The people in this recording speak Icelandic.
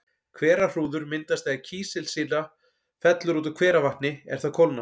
Hverahrúður myndast þegar kísilsýra fellur út úr hveravatni er það kólnar.